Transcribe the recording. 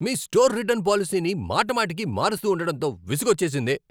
మీ store return పాలసీని మాటిమాటికి మారుస్తూ ఉండడంతో విసుగోచ్చేసింది.